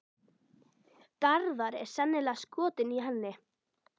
Garðar er sennilega skotinn í henni.